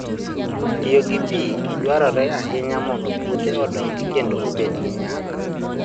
Tiyo gi pi maber dwarore ahinya mondo puothe odongi kendo obed gi nyak.